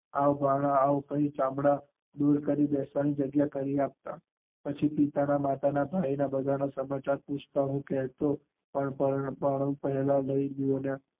આવ ભાણા આવ, ચાંદા દૂર કરી બેસવાની જગ્યા કરી આપતા, પછી પિતા, માતા, ભાઈ ના સમાચાર પૂછતાં, હું કેહતા પણ પેહલા કઈ દ્યોને